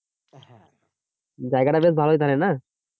জায়গাটা বেশ ভালোই তাহলে না?